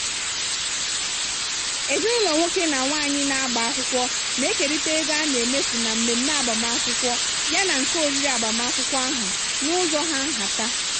ezinụlọ nwoke na nwaanyị na-agba akwụkwọ na-ekerịta ego a na-emefu na mmemme agbamakwụkwọ yana nke oriri agbamakwụkwọ ahụ n'ụzọ hà nhata.